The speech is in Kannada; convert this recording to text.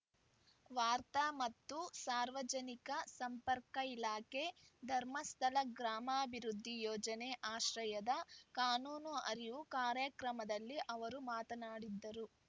ವಾರ್ತಾ ಮತ್ತು ಸಾರ್ವಜನಿಕ ಸಂಪರ್ಕ ಇಲಾಖೆ ಧರ್ಮಸ್ಥಳ ಗ್ರಾಮಾಭಿವೃದ್ಧಿ ಯೋಜನೆ ಆಶ್ರಯದ ಕಾನೂನು ಅರಿವು ಕಾರ್ಯಕ್ರಮದಲ್ಲಿ ಅವರು ಮಾತನಾಡಿದರು